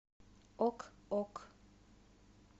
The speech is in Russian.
ок ок